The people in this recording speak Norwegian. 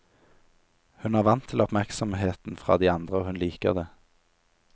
Hun er vant til oppmerksomheten fra de andre og hun liker det.